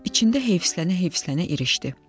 İçində heyfsilənə-heyfsilənə irişdi.